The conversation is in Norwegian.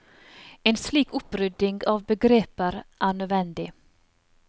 En slik opprydding av begreper er nødvendig.